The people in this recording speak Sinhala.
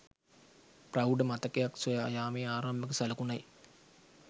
ප්‍රෞඪ මතකයක් සොයා යාමේ ආරම්භක සලකුණයි